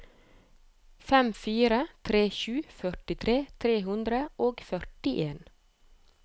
fem fire tre sju førtitre tre hundre og førtien